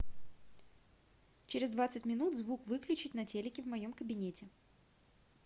через двадцать минут звук выключить на телике в моем кабинете